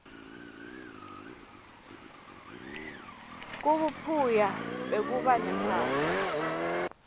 kubuphuya bekuba nemphahla